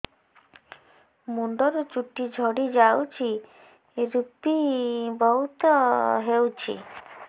ମୁଣ୍ଡରୁ ଚୁଟି ଝଡି ଯାଉଛି ଋପି ବହୁତ ହେଉଛି